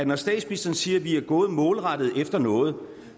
når statsministeren siger at vi er gået målrettet efter noget